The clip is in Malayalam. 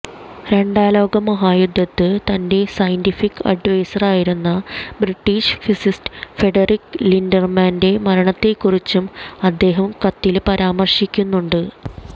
രണ്ടാം ലോക മഹായുദ്ധത്ത് തന്റെ സയന്റിഫിക് അഡ്വൈസറായിരുന്ന ബ്രിട്ടീഷ് ഫിസിസ്റ്റ് ഫ്രെഡറിക് ലിന്ഡര്മാന്റെ മരണത്തെ കുറിച്ചും അദ്ദേഹം കത്തില് പരാമര്ശിക്കുന്നുണ്ട്